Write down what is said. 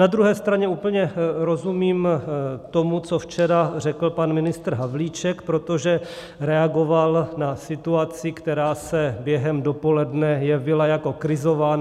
Na druhé straně úplně rozumím tomu, co včera řekl pan ministr Havlíček, protože reagoval na situaci, která se během dopoledne jevila jako krizová.